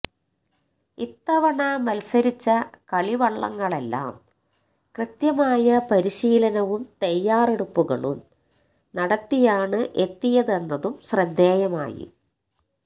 ഇത്തവണ മത്സരിച്ച കളിവള്ളങ്ങളെല്ലാം കൃത്യമായ പരിശീലനവും തയ്യാറെടുപ്പുകളും നടത്തിയാണ് എത്തിയതെന്നതും ശ്രദ്ധേയമായി